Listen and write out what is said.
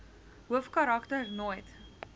hoofkarak ter nooit